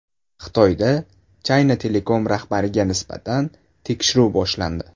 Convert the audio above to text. Xitoyda China Telecom rahbariga nisbatan tekshiruv boshlandi .